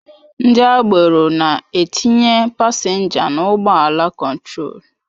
Ndị agbero na-etinye pasenja n'ụgbọ ala kontrol